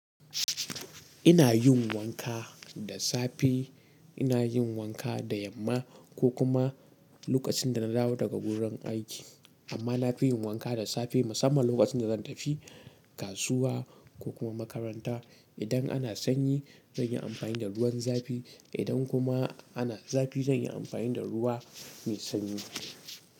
Ina yin wanka da safe, ina yin wanka da yamma ko kuma lokacin da na dawo daga wurin aiki. Amma na fi yin wanka da safe musamman lokacin da zan tafi kasuwa ko kuma makaranta. Idan ana sanyi zan yi amfani da ruwan zafi. Idan kuma ana zafi zan yi amfani da ruwa mai sanyi.